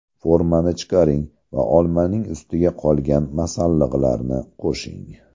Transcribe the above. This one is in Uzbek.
Formani chiqaring va olmaning ustiga qolgan masalliqlarni qo‘shing.